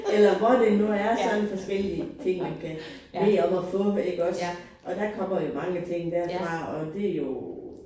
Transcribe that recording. Eller hvor det nu er sådan forskellige ting man kan bede om at få iggås og der kommer jo mange ting derfra og det jo